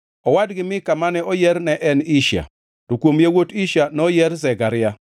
Owadgi Mika mane oyier ne en Ishia, to kuom yawuot Ishia noyier Zekaria.